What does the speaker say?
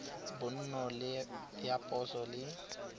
bonno le ya poso le